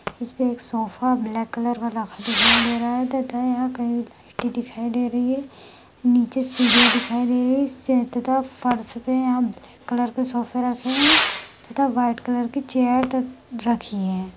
इसपे एक sofa black colour वाला रखा दिखाई दे रहा है तथा यहाँ कई लाइटें दिखाई दे रही है नीचे सीढ़ियां दिखाई दे रही है तथा फर्श पे यहाँ ब्लैक कलर के सोफे रखे है तथा व्हाइट कलर की चेयर त रखी है।